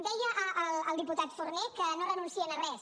deia el diputat forné que no renuncien a res